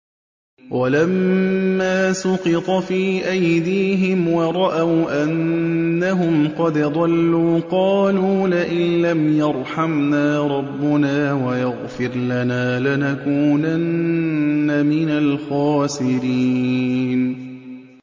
وَلَمَّا سُقِطَ فِي أَيْدِيهِمْ وَرَأَوْا أَنَّهُمْ قَدْ ضَلُّوا قَالُوا لَئِن لَّمْ يَرْحَمْنَا رَبُّنَا وَيَغْفِرْ لَنَا لَنَكُونَنَّ مِنَ الْخَاسِرِينَ